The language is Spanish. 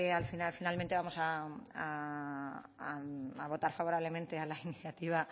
al final finalmente vamos a votar favorablemente a la iniciativa